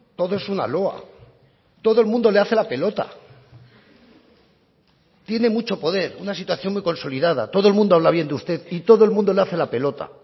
todo es una loa todo el mundo le hace la pelota tiene mucho poder una situación muy consolidada todo el mundo habla bien de usted y todo el mundo le hace la pelota